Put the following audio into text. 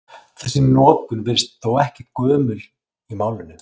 Þessi notkun virðist þó ekki gömul í málinu.